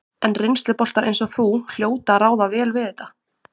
En reynsluboltar eins og þú hljóta að ráða vel við þetta?